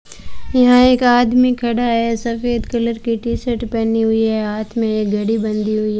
यहां एक आदमी खड़ा है सफेद कलर की टी शर्ट पहनी हुई है हाथ में एक घड़ी बंधी हुई --